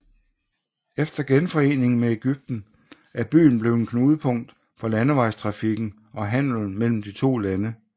Efter genforeningen med Egypten er byen blevet et knudepunkt for landesvejstrafikken og handelen mellem de to lande